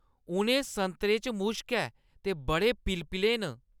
उ'नें संतरे च मुश्क ऐ ते बड़े पिलपिले न।